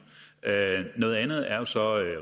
noget andet er jo så